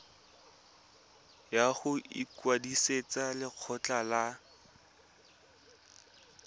ya go ikwadisetsa lekgetho la